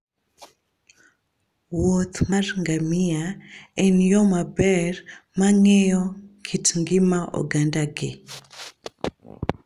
wuoth mar ngamia en yo maber mar ng'eyo kit ngima ogandagi.